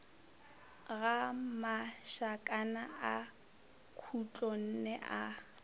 ga mašakana a khutlonne a